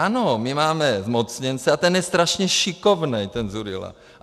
Ano, my máme zmocněnce a ten je strašně šikovnej, ten Dzurilla.